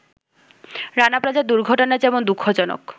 রানা প্লাজার দুর্ঘটনা যেমন দুঃখজনক